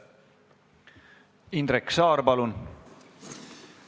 Indrek Saar, palun!